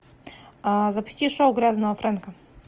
запусти шоу грязного фрэнка